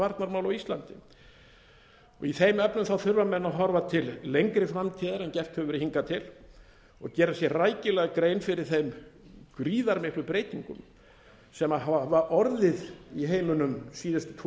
varnarmál á íslandi í þeim efnum þurfa menn að horfa til lengri framtíðar en gert hefur verið hingað til og gera sér rækilega grein fyrir þeim gríðarmiklu breytingum sem hafa orðið í heiminum síðustu